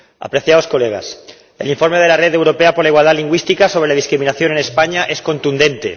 Señorías, el informe de la Red Europea por la Igualdad Lingüística sobre la discriminación en España es contundente.